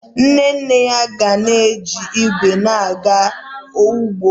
Nne nne ya ga na-eji igwe ya aga ugbo